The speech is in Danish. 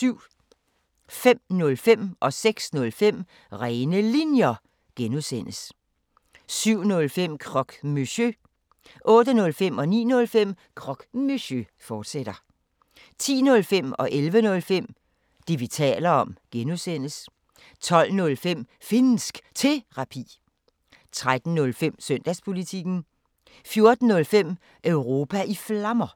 05:05: Rene Linjer (G) 06:05: Rene Linjer (G) 07:05: Croque Monsieur 08:05: Croque Monsieur, fortsat 09:05: Croque Monsieur, fortsat 10:05: Det, vi taler om (G) 11:05: Det, vi taler om (G) 12:05: Finnsk Terapi 13:05: Søndagspolitikken 14:05: Europa i Flammer